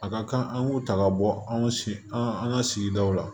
A ka kan an k'u ta ka bɔ anw sen an ka sigidaw la